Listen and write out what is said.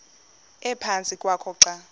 ephantsi kwakho xa